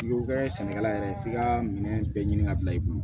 N'i y'o kɛ sɛnɛkɛla yɛrɛ ye f'i ka minɛ bɛɛ ɲini ka bila i kun